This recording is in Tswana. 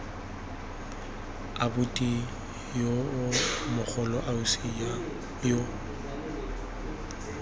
abuti yo mogolo ausi yo